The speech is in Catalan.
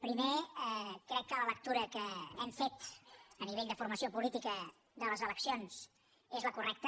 primer crec que la lectura que hem fet a nivell de formació política de les eleccions és la correcta